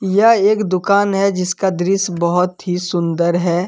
यह एक दुकान है जिसका दृश्य बहुत ही सुंदर है।